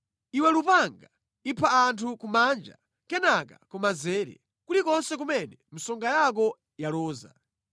Iwe lupanga, ipha anthu kumanja, kenaka kumanzere, kulikonse kumene msonga yako yaloza.